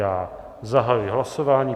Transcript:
Já zahajuji hlasování.